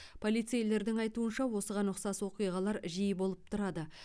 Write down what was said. полицейлердің айтуынша осыған ұқсас оқиғалар жиі болып тұрады